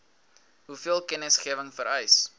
hoeveel kennisgewing vereis